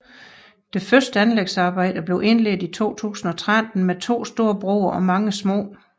De første anlægsarbejder blev indledt i 2013 med to store broer og mange små